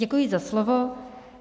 Děkuji za slovo.